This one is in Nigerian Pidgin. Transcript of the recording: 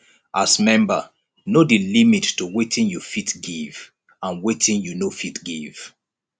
as member know di limit to wetin you fit give and wetin you no fit give